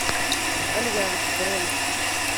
альянс бронь